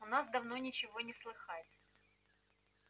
у нас давно ничего не слыхать